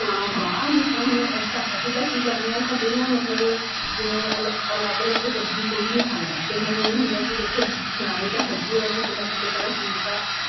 ਹਾਂ ਹਾਂ ਜਿਸ ਤਰ੍ਹਾਂ ਹੁਣ ਅਸੀਂ ਤਾਂ ਕੀ ਕਰਦੇ ਆ ਸਾਡੇ ਨਾ ਮਤਲਬ ਜਿਵੇਂ ਅਲੱਗ ਅਲੱਗ ਸਬਜੀ ਕੋਈ ਨੀਂ ਖਾਂਦਾ ਫੇਰ ਮੈਨੂੰ ਇਹ ਹੁੰਦਾ ਕੀ ਦੇਖੋ ਖਾਣੀ ਤਾਂ ਹੈਗੀ ਓ ਏ ਕਿਸੇ ਨਾ ਕਿਸੇ ਤਰ੍ਹਾਂ ਚੀਜ਼ ਤਾਂ